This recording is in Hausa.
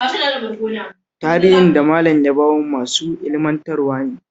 Tarihin da Malam ya ba mu mai ilmantarwa ne